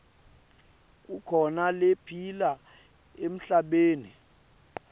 kukhona lephila emhlabeni